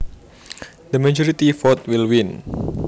The majority vote will win